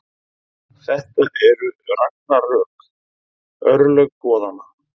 Þetta eru ragnarök, örlög goðanna.